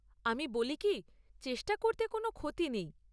আমি বলি কী, চেষ্টা করতে কোনও ক্ষতি নেই।